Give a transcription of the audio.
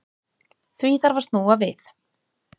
Því þarf að snúa við.